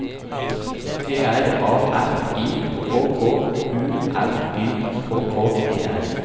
T R A F I K K U L Y K K E R